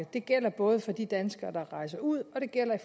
det gælder både for de danskere der rejser ud og det gælder i